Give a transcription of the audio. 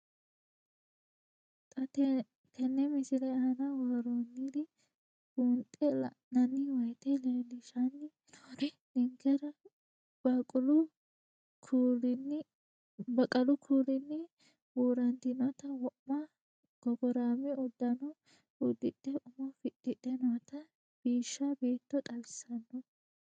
Xa tenne missile aana worroonniri buunxe la'nanni woyiite leellishshanni noori ninkera baqqalu kuulinni buurantinota wo'ma gogoraame uddano uddidhe umo fixxidhe noota biishsha beetto xawissanno.